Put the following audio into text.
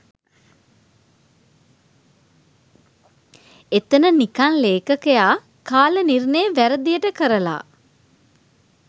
එතන නිකන් ලේඛකයා කාල නිර්ණය වැරදියට කරලා